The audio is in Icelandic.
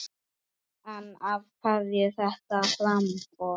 En af hverju þetta framboð?